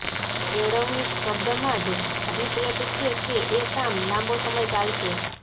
કેળવણી શબ્દમાં જ અભિપ્રેત છે કે એ કામ લાંબો સમય ચાલશે